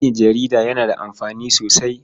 Aiki jarida yana da amfani sosai.